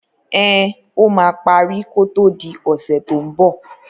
Ẹn, ó máa parí kó tó di ọ̀sẹ̀ tó ń bọ̀.